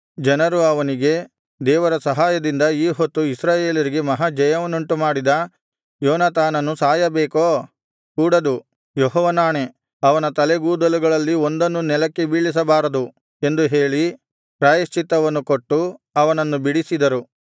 ಜನರು ಅವನಿಗೆ ದೇವರ ಸಹಾಯದಿಂದ ಈ ಹೊತ್ತು ಇಸ್ರಾಯೇಲರಿಗೆ ಮಹಾ ಜಯವನ್ನುಂಟುಮಾಡಿದ ಯೋನಾತಾನನು ಸಾಯಬೇಕೋ ಕೂಡದು ಯೆಹೋವನಾಣೆ ಅವನ ತಲೆಗೂದಲುಗಳಲ್ಲಿ ಒಂದನ್ನೂ ನೆಲಕ್ಕೆ ಬೀಳಿಸಬಾರದು ಎಂದು ಹೇಳಿ ಪ್ರಾಯಶ್ಚಿತ್ತವನ್ನು ಕೊಟ್ಟು ಅವನನ್ನು ಬಿಡಿಸಿದರು